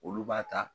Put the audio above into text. Olu b'a ta